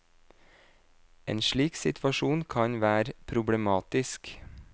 En slik situasjon kan være problematisk.